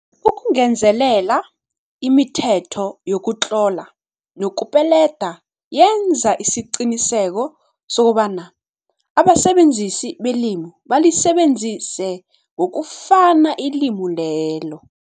Ukungezelela, imithetho yokutlola nokupelelda yenza isiqiniseko sokobana abasebenzisi belimi balisebenzisa ngokufana ilimi lelo.